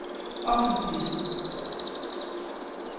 offentlig